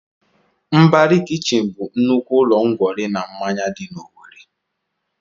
Mbari kichin bụ nnukwu ụlọ ńgwọri na mmanya dị na Owerri